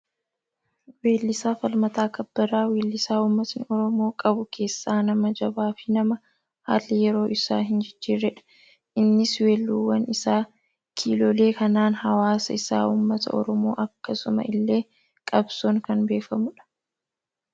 Weellisaa Falmataa kabbadaa, wellisaa uummatni Oromoo qabu keessaa, nama jabaa fi nama haalli yeroo isa hin jijjiirredha. Innis weelluuwwan isaa kiilolee kanaan hawaasa isaa uummata Oromoo akkasuma illee qabsoon kan beekamudha.